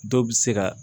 Dɔw bɛ se ka